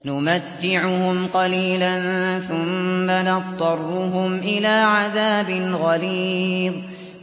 نُمَتِّعُهُمْ قَلِيلًا ثُمَّ نَضْطَرُّهُمْ إِلَىٰ عَذَابٍ غَلِيظٍ